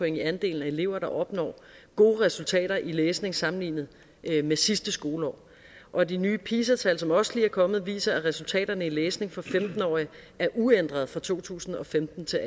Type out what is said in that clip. i andelen af elever der opnår gode resultater i læsning sammenlignet med sidste skoleår og de nye pisa tal som også lige er kommet viser at resultaterne i læsning for femten årige er uændrede fra to tusind og femten til